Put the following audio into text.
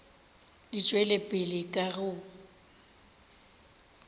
di tšwela pele ka go